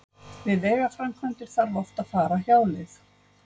Við vegaframkvæmdir þarf oft að fara hjáleið.